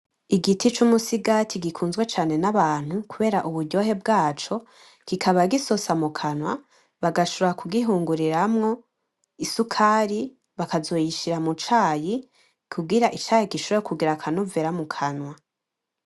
Igiti c'umusigati gikunzwe cane n'abantu kubera uburyohe bwaco, kikaba gisosa mu kanwa bagashobora kugihinguriramwo isukari bakazoyishira mu cayi kugira icayi gishobore kugira akanovera mu kanwa.